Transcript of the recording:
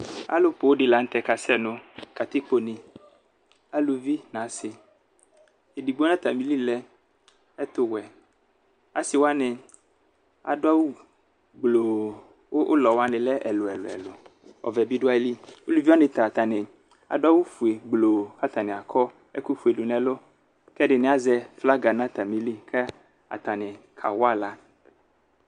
Alʋ poo di lanʋtɛ kasɛ nʋ katikpone alʋvi nʋ asi edigbo nʋ atamili lɛ ɛtʋwɛ asi wani adʋ awʋ gbloo kʋ ʋlɔ wani lɛ ɛlʋ ɛlʋ ɛlʋ ɔvɛ bi dʋ ayili ofue alʋvi wani ta atani adʋ awʋfue gbloo kʋ atani akɔ ɛkʋfue dʋ nʋ ɛlʋ kʋ ɛdini azɛ flaga nʋ atami ili kʋ atani kawa aɣla